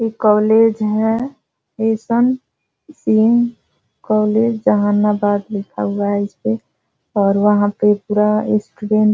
एक कॉलेज है S N. Singh college Jahanabad लिखा हुआ है इस पे और वहाँ पे पूरा स्टूडेंट --